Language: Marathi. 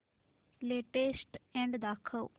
लेटेस्ट अॅड दाखव